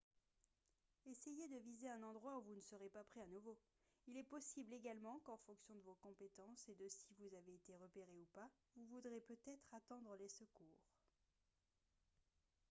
essayez de viser un endroit où vous ne serez pas pris à nouveau il est possible également qu'en fonction de vos compétences et de si vous avez été repéré ou pas vous voudrez peut-être attendre les secours